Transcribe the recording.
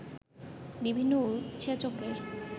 বিভিন্ন উৎসেচকের